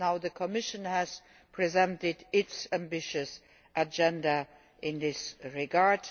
The Commission has presented its ambitious agenda in this regard.